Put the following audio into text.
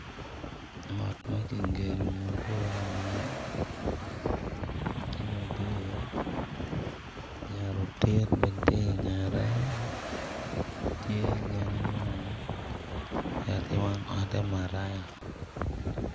Ot ma kigedo mabor lamal tye madit, yat otit bene tye ingette tye gin angwen ento wang otte maraya.